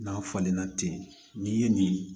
N'a falenna ten n'i ye nin